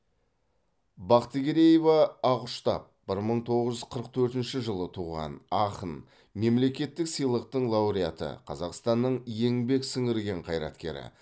бақтыгереева ақұштап бір мың тоғыз жүз қырық төртінші жылы туған ақын мемлекеттік сыйлықтың лауреаты қазақстанның еңбек сіңірген қайраткері